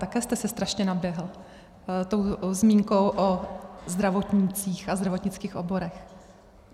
Také jste si strašně naběhl tou zmínkou o zdravotnících a zdravotnických oborech.